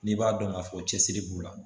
N'i b'a dɔn k'a fɔ cɛsiri b'u la